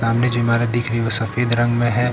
सामने जो इमारत दिख रही है वह सफेद रंग में है।